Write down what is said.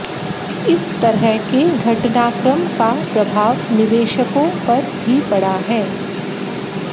इस तरह के घटनाक्रम का प्रभाव निवेशकों पर भी पड़ा है